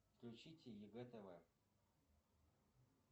включите егэ тв